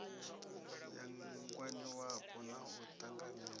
ya ngwaniwapo na u ṱanganywa